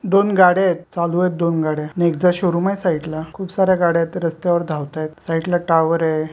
दोन गाड्या आहेत चालू आहेत दोन गाड्या नेक्सा शोरूम आहे साइड ला खूप साऱ्या गाड्या आहेत रस्त्यावर धावताहेत साइड ला टावर आहे.